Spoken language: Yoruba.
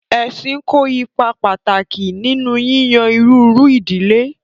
Ẹ̀ṣìn kò ípà pátákì nínú yíyàn iriru idílẹ̀.